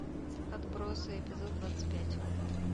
отбросы эпизод двадцать пять